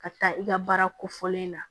Ka taa i ka baara kofɔlen na